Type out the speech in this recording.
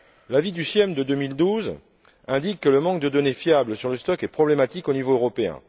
L'avis du CIEM de 2012 indique que le manque de données fiables sur le stock est problématique au niveau européen.